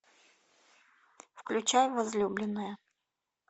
включай возлюбленная